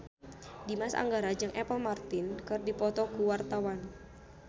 Dimas Anggara jeung Apple Martin keur dipoto ku wartawan